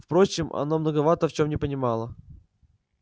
впрочем она многовато в нем не понимала